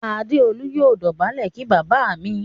Adeolu yóò dobale kí bàbá mí.